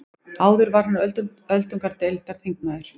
Áður var hann öldungadeildarþingmaður